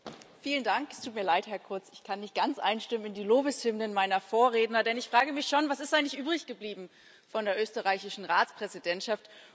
Herr Präsident! Es tut mir leid, Herr Kurz, ich kann nicht ganz einstimmen in die Lobeshymnen meiner Vorredner, denn ich frage mich schon Was ist eigentlich übrig geblieben von der österreichischen Ratspräsidentschaft?